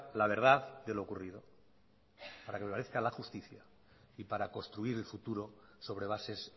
la verdad de lo ocurrido para que prevalezca la justicia y para construir el futuro sobre bases